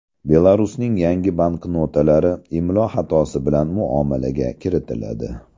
Belarusning yangi banknotalari imlo xatosi bilan muomalaga kiritiladi.